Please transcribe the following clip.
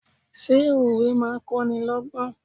Ṣé òwe máa ń kọ́nilọ́gbọ́n?